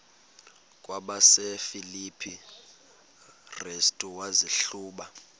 kwabasefilipi restu wazihluba